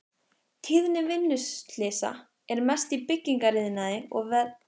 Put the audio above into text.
Tíðni vinnuslysa er mest í byggingariðnaði og við verklegar framkvæmdir.